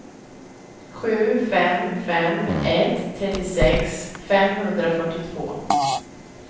sju fem fem ett trettiosex femhundrafyrtiotvå